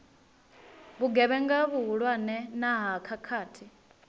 vhugevhenga vhuhulwane na ha khakhathi